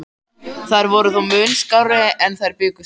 Þær voru þó mun skárri en þeir bjuggust við.